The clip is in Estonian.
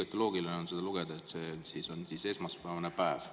" Igati loogiline on seda lugeda, see on esmaspäevane päev.